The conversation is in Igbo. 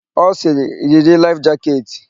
Ọ sịrị, "yiri laịf jaketị"!